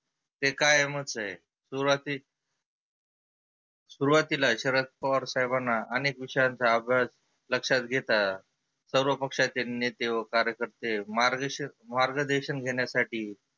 ते कायमच आहे. सुरुवाती सुरुवातीला शरद पवार साहेबांना अनेक विषयांचा अभ्यास लक्षात घेता सर्व पक्षाचे नेते व कार्यकर्ते मार्गदे मार्गदर्शन घेण्यासाठी